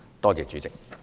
多謝主席。